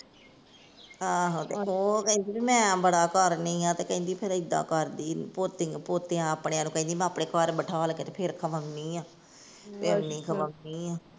ਆਹੋ ਤੇ ਉਹ ਕਹਿੰਦੀ ਭੀ ਮੈ ਬੜਾ ਕਰਨੀ ਆ ਤੇ ਕਹਿੰਦੀ ਫੇਰ ਇੱਦਾਂ ਕਰਦੀ ਪੋਤਿਆਂ ਆਪਣਿਆਂ ਨੂੰ ਕਹਿੰਦੀ ਮੈਂ ਆਪਣੇ ਘਰ ਬਿਠਾਲ ਕੇ ਤੇ ਫੇਰ ਖਵਾਉਨੀ ਆਂ, ਪਿਓਨੀ ਖਵਾਉਨੀ ਆ।